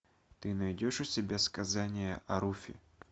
ты найдешь у себя сказание о руфи